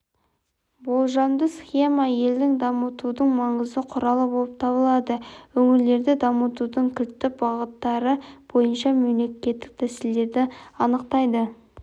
болжамды схема елді дамытудың маңызды құралы болып табылады өңірлерді дамытудың кілтті бағыттары бойынша мемлекеттік тәсілдерді анықтайды